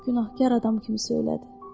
Günahkar adam kimi söylədi.